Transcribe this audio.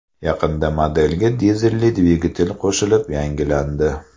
Yaqinda modelga dizelli dvigatel qo‘shilib yangilandi.